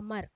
Amar